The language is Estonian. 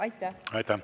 Aitäh!